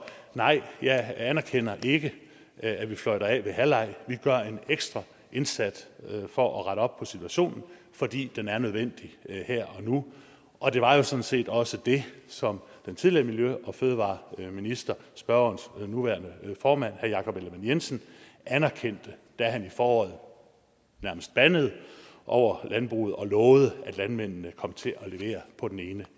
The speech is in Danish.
nej jeg anerkender ikke at vi fløjter af ved halvleg vi gør en ekstra indsats for at rette op på situationen fordi den er nødvendig her og nu og det var jo sådan set også det som den tidligere miljø og fødevareminister spørgerens nuværende formand herre jakob ellemann jensen anerkendte da han i foråret nærmest bandede over landbruget og lovede at landmændene kom til at levere på ene